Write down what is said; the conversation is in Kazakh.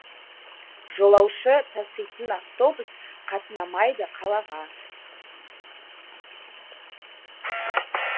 жолаушы таситын автобус қатынамайды қалаға